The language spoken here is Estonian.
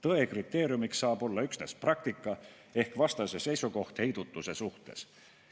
Tõe kriteeriumiks saab olla üksnes praktika ehk vastase seisukoht heidutuse suhtes.